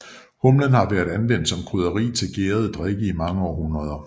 Humlen har været anvendt som krydderi til gærede drikke i mange århundreder